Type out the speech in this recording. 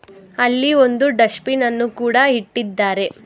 ಅಲ್ಲಿ ಒಂದು dustbin ಅನ್ನು ಕೂಡ ಇಟ್ಟಿದ್ದಾರೆ.